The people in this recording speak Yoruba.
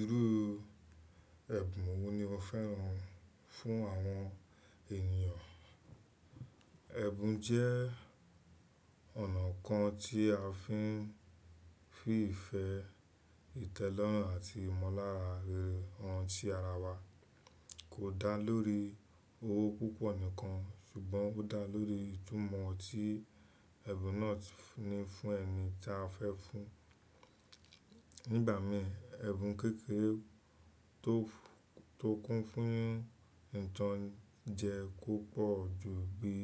Irú ẹ̀bùn wo ni o fẹ́ràn fún àwọn ènìyàn? Ẹ̀bùn jẹ́ ọ̀nà kan tí a fi ń fi ìfẹ́, ìtẹ́lọ́rùn àti ìmọ̀lára rere oun tí ara wa, kò dá lórí owó púpọ̀ nìkan ṣùgbọ́n ó dá lórí ìtumọ̀ tí ẹ̀bùn náà ti ní fún ẹni tí a fẹ́ fún. Nígba mìí, ẹ̀bùn kékeré tó, tó kún fún ìtànjẹ́ kò pọ̀ ju bí